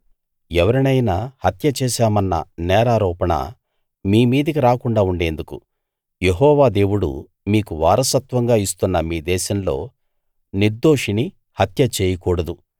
ఎవరినైనా హత్య చేశామన్న నేరారోపణ మీ మీదికి రాకుండా ఉండేందుకు యెహోవా దేవుడు మీకు వారసత్వంగా ఇస్తున్న మీ దేశంలో నిర్దోషిని హత్య చేయకూడదు